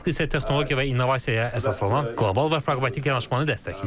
Mask isə texnologiya və innovasiyaya əsaslanan qlobal və praqmatik yanaşmanı dəstəkləyir.